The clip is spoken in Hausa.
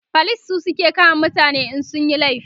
police su suke kama mutane in sun Yi laifi